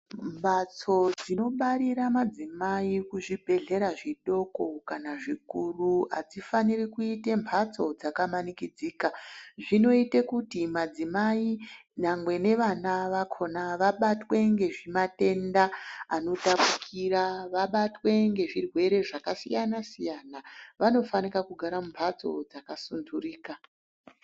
Mhatso dzinobarira madzimai kuzvibhedhlera zvidoko kana zvikuru adzifaniri kuite mhatso dzakamanikidzika. Zvinoite kuti madzimai nyangwe nevana vakhona vabatwe ngematenda anotapukira. Vanobatwe ngezvirwere zvakasiyana siyana. Vanofanika kugara mumhatso dzakasunhurika.